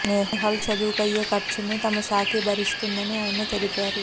నేహాల్ చదువుకు అయ్యే ఖర్చును తమ శాఖే భరిస్తుందని ఆయన తెలిపారు